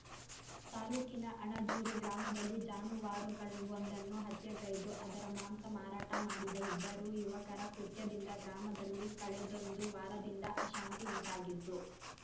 ತಾಲೂಕಿನ ಅಣಜೂರು ಗ್ರಾಮದಲ್ಲಿ ಜಾನುವಾರುವೊಂದನ್ನು ಹತ್ಯೆಗೈದು ಅದರ ಮಾಂಸ ಮಾರಾಟ ಮಾಡಿದ ಇಬ್ಬರು ಯುವಕರ ಕೃತ್ಯದಿಂದ ಗ್ರಾಮದಲ್ಲಿ ಕಳೆದೊಂದು ವಾರದಿಂದ ಅಶಾಂತಿ ಉಂಟಾಗಿದ್ದು